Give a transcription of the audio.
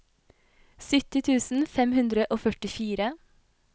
sytti tusen fem hundre og førtifire